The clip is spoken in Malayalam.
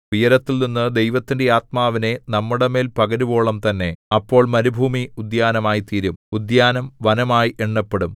ഉയരത്തിൽനിന്ന് ദൈവത്തിന്റെ ആത്മാവിനെ നമ്മുടെമേൽ പകരുവോളം തന്നെ അപ്പോൾ മരുഭൂമി ഉദ്യാനമായിത്തീരും ഉദ്യാനം വനമായി എണ്ണപ്പെടും